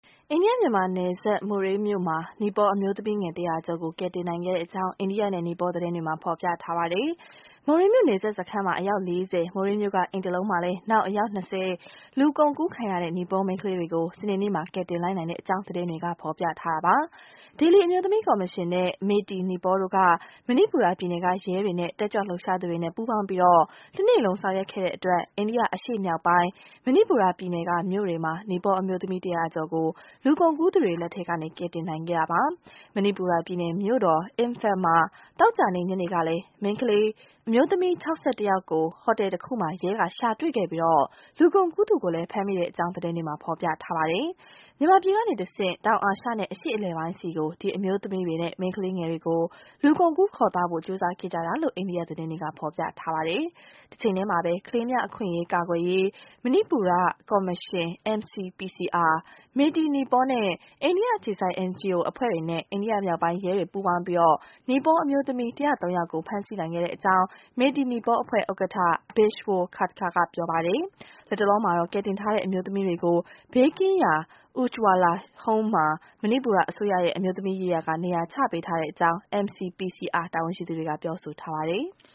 အိန္ဒိယ-မြန်မာနယ်စပ် မိုရေးမြို့မှာ နီပေါအမျိုးသမီးငယ် ၁ဝဝ ကျော်ကို ကယ်တင်နိုင်ခဲ့ကြောင်း အိန္ဒိယနဲ့ နီပေါ သတင်းတွေမှာ ဖော်ပြကြပါတယ်။ မိုရေးမြို့ နယ်စပ်စခန်းမှာ အယောက် ၄ဝ၊ မိုရေးမြို့က အိမ်တလုံးမှာလည်း နောက် အယောက် ၂ဝ၊ လူကုန်ကူးခံရတဲ့ နီပေါမိန်းကလေးတွေကို စနေနေ့မှာ ကယ်တင်လိုက်နိုင်တဲ့ အကြောင်း သတင်းတွေက ဖော်ပြထားပါတယ်။ ဒေလီ အမျိုးသမီးကော်မရှင်နဲ့ မေတီနီပေါတို့က မဏိပူရပြည်နယ်က ရဲတွေနဲ့ တက်ကြွ လှုပ်ရှားသူတို့ ပူးပေါင်းပြီး တနေ့လုံးဆောင်ရွက်ခဲ့တဲ့အတွက် အိန္ဒိယအရှေ့မြောက်ပိုင်း မဏိပူရပြည်နယ်က မြို့တွေမှာ နီပေါအမျိုးသမီး ၁ဝဝ ကျော်ကို လူကုန်ကူးသူတွေ လက်ထဲ က ကယ်တင်နိုင်ခဲ့ပါတယ်။ မဏိပူရပြည်နယ်မြို့တော် Imphal မှာ သောကြာနေ့ညနေကလည်း အမျိုးသမီး ၆၁ ကို ဟိုတယ်တခုမှာ ရဲက ရှာတွေ့ခဲ့ပြီး လူကုန်ကူးသူကိုလည်း ဖမ်းမိလိုက်တဲ့အကြောင်း သတင်းတွေမှာ ဖော်ပြထားပါတယ်။ မြန်မာပြည်ကနေတဆင့် တောင်အာရှနဲ့ အရှေ့ အလယ်ပိုင်းဆီကို ဒီအမျိုးသမီးတွေနဲ့ မိန်းကလေးငယ်တွေကို လူကုန်ကူးခေါ်သွားဖို့ ကြိုးပမ်းခဲ့ကြတာလို့ အိန္ဒိယသတင်းတွေက ဖော်ပြထားပါတယ်။ တချိန်တည်းမှာပဲ ကလေးများအခွင့်အရေးကာကွယ်ရေး မဏိပူကော်မရှင် MCPCR၊ မေတီ နီပေါနဲ့ အိန္ဒိယ အခြေစိုက် NGO အဖွဲ့တွေနဲ့ အိန္ဒိယမြောက်ပိုင်းရဲတွေ ပူးပေါင်းပြီး နီပေါအမျိုးသမီး ၁ဝ၃ ယောက်ကို ဖမ်းဆီး နိုင်ခဲ့တဲ့အကြောင်း မေတီ နီပေါအဖွဲ့ ဥက္ကဋ္ဌ Bishwo Khadka က ပြောပါတယ်။ လတ်တလောမှာတော့ ကယ်တင်ထားတဲ့အမျိုးသမီးတွေကို ဘေးကင်းရာ Ujjwala Home မှာ မဏိပူရအစိုးရရဲ့ အမျိုးသမီးရေးရာက နေရာချပေးထားကြောင်း MCPCR တာဝန်ရှိသူတွေက ပြောဆိုထားပါတယ်။